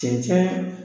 Cɛncɛn